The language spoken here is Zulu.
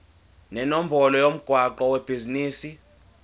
nenombolo yomgwaqo webhizinisi